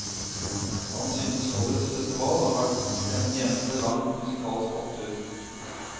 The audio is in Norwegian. Han synes årets festival har vært en eneste lang musikalsk opptur.